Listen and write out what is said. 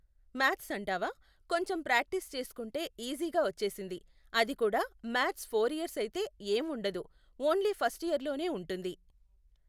Maths అంటావా, కొంచెం practice చేసుకుంటే ఈజీగా వచ్చేసింది. అది కూడా మాథ్స్ ఫోర్ ఇయర్స్ అయితే ఏం ఉండదు, ఓన్లీ ఫస్ట్ ఇయర్లోనే ఉంటుంది.